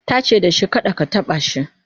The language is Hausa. tace dashi kada ka taɓa shi!"